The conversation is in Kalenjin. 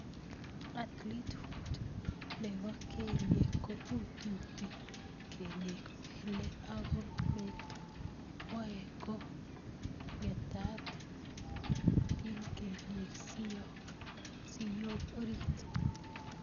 (Athletes foot)Nobo kelyek ko iututi kelyek, pele ako meto waet ko ngetat ing kelyek siyok orit.